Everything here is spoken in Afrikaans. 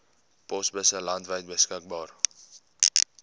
posbusse landwyd beskikbaar